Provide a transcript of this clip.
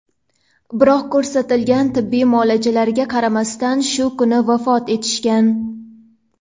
biroq ko‘rsatilgan tibbiy muolajalariga qaramasdan shu kuni vafot etishgan.